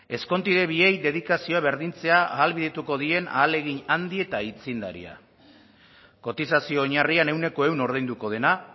ezkontide biei dedikazioa berdintzea ahalbidetuko dien ahalegin handi eta aitzindaria kotizazio oinarrian ehuneko ehun ordainduko dena